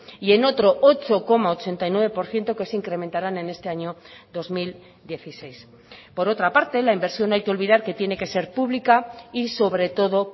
y en otro ocho coma ochenta y nueve por ciento que se incrementarán en este año dos mil dieciséis por otra parte la inversión hay que olvidar que tiene que ser pública y sobre todo